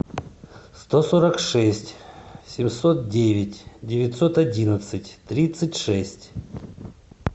сто сорок шесть семьсот девять девятьсот одиннадцать тридцать шесть